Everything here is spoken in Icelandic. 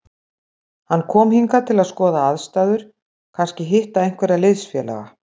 Hann kom hingað til að skoða aðstæður, kannski hitta einhverja liðsfélaga.